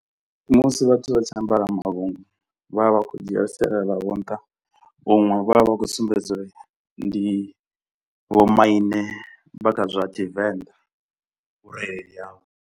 Musi vhathu vha tshi ambara mavhungo vha vha vha khou dzhia sialala lavho nṱha huṅwe vha vha vha khou sumbedza uri ndi vhomaine vha kha zwa Tshivenḓa vhurereli havho.